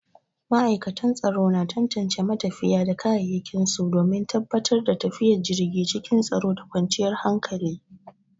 Matakan tsaro na tantance matafiya da kayayyakin su domin tabbatar da tafiyar jirgi cikin tsaro da kwanciyar hankali.